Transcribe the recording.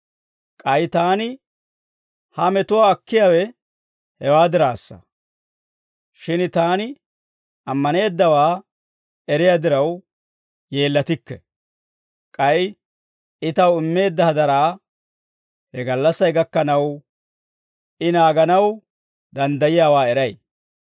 K'ay taani ha metuwaa akkiyaawe hewaa diraassa. Shin taani ammaneeddawaa eriyaa diraw, yeellatikke. K'ay I taw immeedda hadaraa he gallassay gakkanaw, I naaganaw danddayiyaawaa eray.